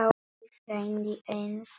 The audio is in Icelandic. Halli frændi einn þeirra.